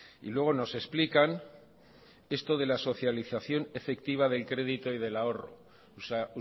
y luego nos explican esto de la socialización efectiva del crédito y del ahorro o sea